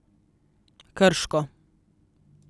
Krško.